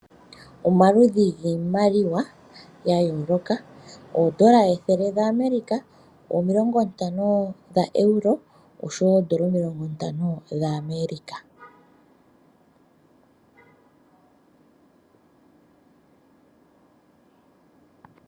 Omaludhi giimaliwa ya yooloka, oodola ethele dha Amerika, omilongo ntano dha Euro oshowo oodola omilongo ntano dha America.